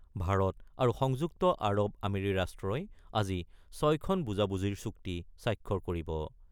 ভাৰত আৰু সংযুক্ত আৰৱ আমিৰি ৰাষ্ট্ৰই আজি ৬ খন বুজাবুজিৰ চুক্তি স্বাক্ষৰ কৰিব।